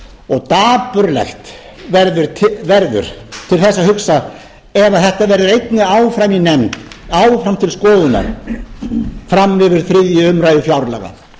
og dapurlegt verður til þess að hugsa ef þetta verður einnig áfram í nefnd áfram til skoðunar fram yfir þriðju umræðu fjárlaga